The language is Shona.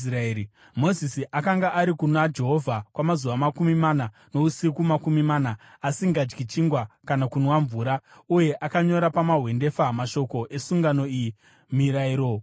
Mozisi akanga ariko kuna Jehovha kwamazuva makumi mana nousiku makumi mana, asingadyi chingwa kana kunwa mvura. Uye akanyora pamahwendefa mashoko esungano, iyo Mirayiro Gumi.